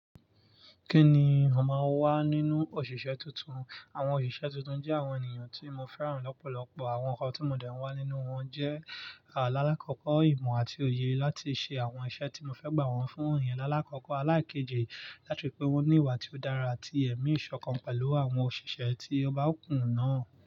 Kí ni ó máa wá nínú òṣìṣẹ́ tuntun? Àwọn òṣìṣẹ́ tuntun jẹ́ àwọn ènìyàn tí mo fẹ́ràn lọ́pọ̀lọpọ̀. Àwọn ǹkan tó mọ̀dẹ́ ẹ wá nínú wọn jẹ́ alálákòókò ìmọ̀ àti òye láti ṣe àwọn iṣẹ́ tí mo fẹ́ gbà wọ́n fún iyen lalálákòókò elekejì láti ri pè wọ́n ní ìwà tí ó dára àti ẹ̀mí ìṣọ̀kan pẹ̀lú àwọn òṣìṣẹ́ tí ọba òkun náà.